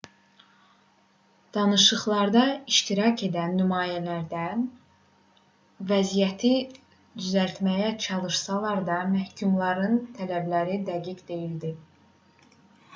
danışıqlarda iştirak edən nümayəndələr vəziyyəti düzəltməyə çalışsalar da məhkumların tələbləri dəqiq deyildi